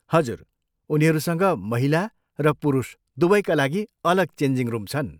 हजुर, उनीहरूसँग महिला र पुरुष दुवैका लागि अलग चेन्जिङ रुम छन्।